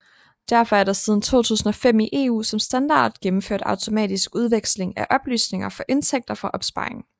Derfor er der siden 2005 i EU som standard gennemført automatisk udveksling af oplysninger for indtægter fra opsparing